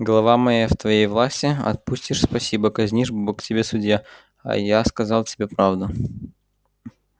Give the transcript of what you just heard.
голова моя в твоей власти отпустишь спасибо казнишь бог тебе судья а я сказал тебе правду